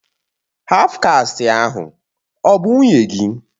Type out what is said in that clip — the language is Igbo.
Haf kasti ahụ ọ bụ nwunye gị?